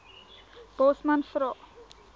bosman vra